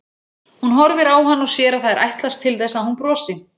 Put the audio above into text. Hún horfir á hann og sér að það er ætlast til þess að hún brosi.